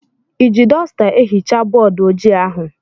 I ji dọsta ehichaa bọọdụ ojii ahụ?